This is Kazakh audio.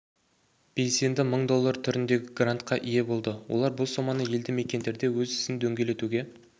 белсенді мың доллар түріндегі грантқа ие болды олар бұл соманы елді мекендерде өз ісін дөңгелетуге